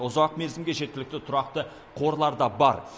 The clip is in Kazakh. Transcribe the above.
ұзақ мерзімге жеткілікті тұрақты қорлар да бар